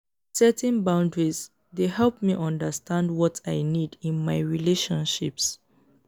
setting boundaries dey help me understand what i need in my relationships.